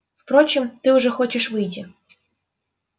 впрочем ты уже хочешь выйти